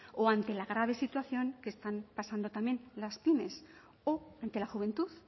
o ante la grave situación que están pasando también las pymes o ante la juventud